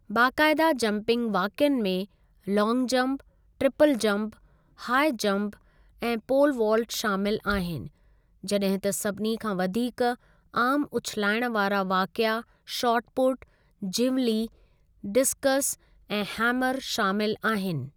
बाक़ायदा jumping वाक़िअनि में long jump, triple jump, high jump, ऐं पोल वाल्ट शामिलु आहिनि, जॾहिं त सभिनी खां वधीक आमु उछिलाइणु वारा वाक़िआ शॉट पुट, जीवलीं, डिस्कस ऐं हैमर शामिलु आहिनि।